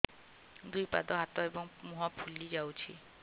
ଦୁଇ ପାଦ ହାତ ଏବଂ ମୁହଁ ଫୁଲି ଯାଉଛି